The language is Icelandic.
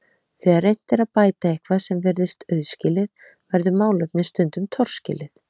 Þegar reynt er að bæta eitthvað sem virðist auðskilið verður málefnið stundum torskilið.